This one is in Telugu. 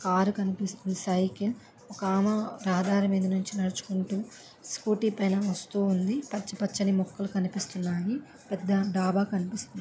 ఆరు కనిపిస్తున్నాయి. సైకిల్ ఒక ఆమె సాధారణంగా నడుపుకుంటు స్కూటీ పైన వస్తూ ఉంది. పచ్చ పచ్చని మొక్కలు కనిపిస్తూ ఉన్నాయి పెద్ద డాబా కనిపిస్తుంది.